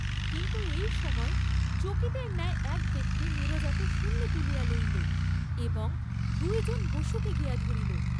কিন্তু এই সময় চকিতের ন্যায় এক ব্যক্তি নীরজাকে শূন্যে তুলিয়া লইল এবং দুইজন বসুকে গিয়া ধরিল।